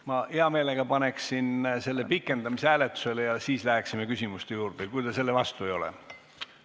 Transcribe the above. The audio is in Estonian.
Ma paneksin hea meelega praegu selle pikendamise hääletusele ja siis läheksime läheksime küsimuste juurde, kui te selle vastu ei ole.